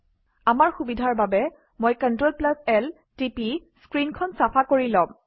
আমাৰ সুবিধাৰ বাবে মই CltL টিপি স্ক্ৰীনখন চাফা কৰি লম